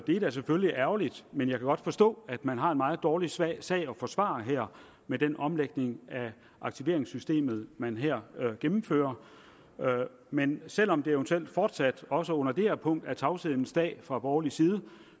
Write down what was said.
er da selvfølgelig ærgerligt men jeg kan godt forstå at man har en meget dårlig sag sag at forsvare med den omlægning af aktiveringssystemet man her gennemfører men selv om det eventuelt fortsat også under det her punkt er tavshedens dag fra borgerlig side